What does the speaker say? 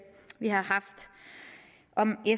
om